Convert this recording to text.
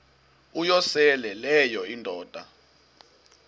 uyosele leyo indoda